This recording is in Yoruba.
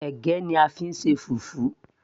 ẹ̀gẹ́ ni a fí ń ṣe fufu